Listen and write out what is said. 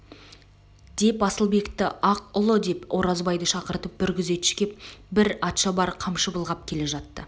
деп асылбекті аққұлы деп оразбайды шақырып бір күзетші пен бір атшабар қамшы былғап келе жатты